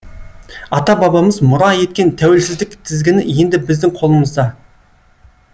ата бабамыз мұра еткен тәуелсіздік тізгіні енді біздің қолымызда